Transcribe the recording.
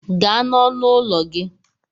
Gaa n'ọnụ ụlọ gị!